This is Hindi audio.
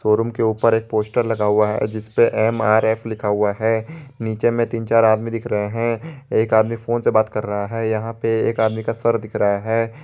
शोरूम के ऊपर एक पोस्टर लगा हुआ है जिसपे एम_आर_एफ लिखा हुआ है नीचे में तीन चार आदमी दिख रहे हैं एक आदमी फोन से बात कर रहा है यहां पे एक आदमी का सर दिख रहा है।